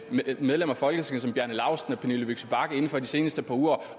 medlemmer af folketinget som bjarne laustsen og pernille vigsø bagge inden for de seneste par uger